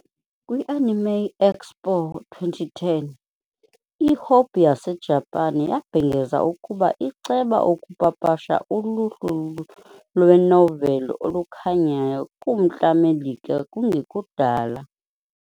Kwi -Anime Expo 2010, iHobby yaseJapan yabhengeza ukuba iceba ukupapasha uluhlu lwenoveli olukhanyayo kuMntla Melika kungekudala.